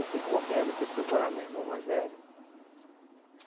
Eu fui correndo, fui procurar meu irmão mais velho.